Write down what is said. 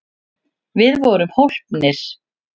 Við vorum hólpnir!